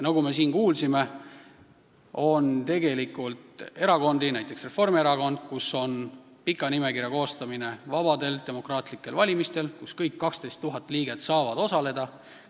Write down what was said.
Nagu me siin kuulsime, on erakondi, näiteks Reformierakond, kus on vabadel demokraatlikel valimistel pikk nimekiri, kus kõik 12 000 liiget saavad osaleda.